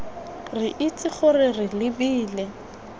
re itse gore re lebile